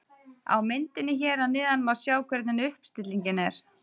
Á myndinni hér að neðan má sjá hvernig uppstillingin er.